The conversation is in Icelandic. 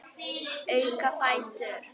Auka fætur.